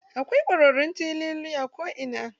Akwai kwararrun teloli a ko ina.